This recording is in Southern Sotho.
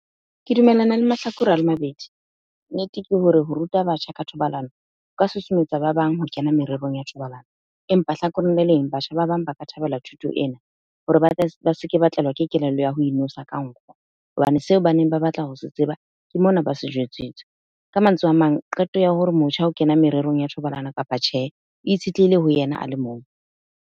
Ke dumellana le mahlakore a le mabedi. Nnete ke hore ho ruta batjha ka thobalano o ka susumetsa ba bang ho kena mererong ya thobalano. Empa hlakoreng le leng batjha ba bang ba ka thabela thuto ena hore ba se ke batlelwa ke kelello ya ho inwesa ka nkgo. Hobane seo ba neng ba batla ho se tseba ke mona ba se jwetsitse. Ka mantswe a mang, qeto ya hore motjha o kena mererong ya thobalano kapa tjhe, e itshitlehile ho yena a le mong.